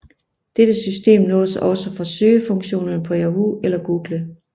Dette system nås også fra søgefunktionerne på Yahoo eller Google